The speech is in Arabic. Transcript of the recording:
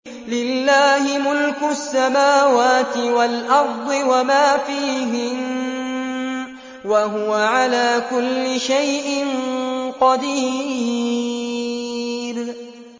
لِلَّهِ مُلْكُ السَّمَاوَاتِ وَالْأَرْضِ وَمَا فِيهِنَّ ۚ وَهُوَ عَلَىٰ كُلِّ شَيْءٍ قَدِيرٌ